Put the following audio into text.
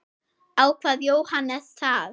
Ákvað Jóhannes það?